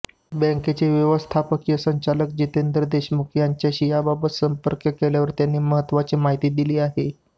बँकेचे व्यवस्थापकीय संचालक जितेंद्र देशमुख यांच्याशी याबाबत संपर्क केल्यावर त्यांनी महत्त्वाची माहिती दिली आहे